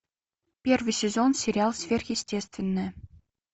первый сезон сериал сверхъестественное